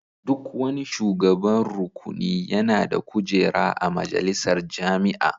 Duk wani shugaban rukuni yana da kujera a majalisar jami'a.